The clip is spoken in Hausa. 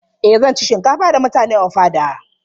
Eh zan ci shinkafa da mutane ofada.